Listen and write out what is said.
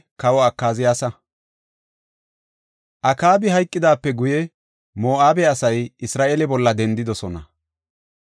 Akaabi hayqidaape guye, Moo7abe asay Isra7eele bolla dendidosona.